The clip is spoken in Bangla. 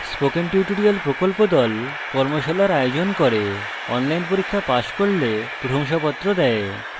spoken tutorial প্রকল্প the কর্মশালার আয়োজন করে online পরীক্ষা pass করলে প্রশংসাপত্র দেয়